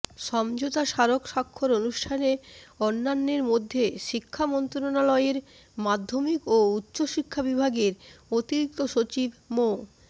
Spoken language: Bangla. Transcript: সমঝোতা স্মারক স্বাক্ষর অনুষ্ঠানে অন্যান্যের মধ্যে শিক্ষা মন্ত্রণালয়ের মাধ্যমিক ও উচ্চশিক্ষা বিভাগের অতিরিক্ত সচিব মো